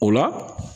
O la